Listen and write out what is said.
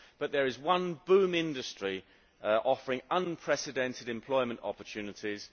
But there is one boom industry offering unprecedented employment opportunities.